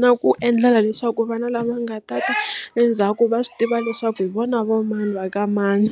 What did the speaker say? na ku endlela leswaku vana lava nga ta ta endzhaku va swi tiva leswaku hi vona va mani va ka mani.